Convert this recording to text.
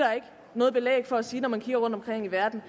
noget belæg for at sige det når man kigger rundtomkring i verden